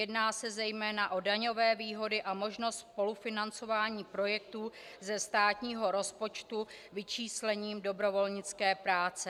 Jedná se zejména o daňové výhody a možnost spolufinancování projektů ze státního rozpočtu vyčíslením dobrovolnické práce.